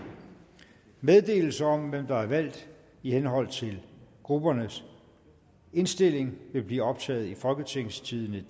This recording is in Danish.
meddelelse om hvem der er valgt i henhold til gruppernes indstilling vil blive optaget i folketingstidendedk